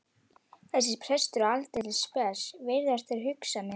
Þessi prestur er aldeilis spes, virðast þeir hugsa með sér.